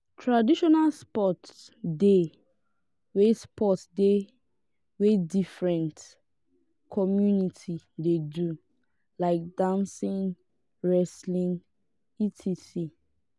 traditional sports de wey sports de wey different communities de do like dancing wrestling etc.